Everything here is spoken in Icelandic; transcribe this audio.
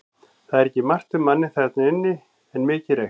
Það var ekki margt um manninn þarna inni en mikið reykt.